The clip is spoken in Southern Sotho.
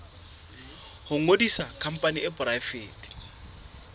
ho ngodisa khampani e poraefete